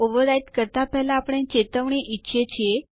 ચાલો હવે ટર્મિનલ પર જઈએ